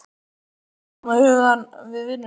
Er hún þá með hugann við vinnuna?